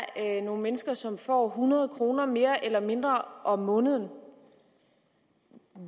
nogle mennesker som får hundrede kroner mere eller mindre om måneden